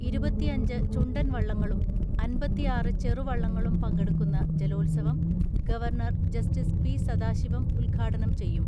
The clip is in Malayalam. ഇരുപത്തിഅഞ്ച് ചുണ്ടൻ വള്ളങ്ങളും അൻപത്തി ആറ് ചെറുവള്ളങ്ങളും പങ്കെടുക്കുന്ന ജലോത്സവം ഗവർണർ ജസ്റ്റിസ് പി.സദാശിവം ഉദ്ഘാടനം ചെയ്യും.